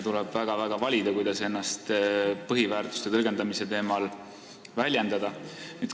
Tuleb väga kaaluda, kuidas ennast põhiväärtuste tõlgendamisel väljendada.